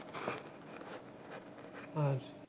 আচ্ছা